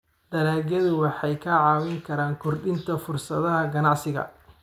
Dalagyadu waxay kaa caawin karaan kordhinta fursadaha ganacsiga.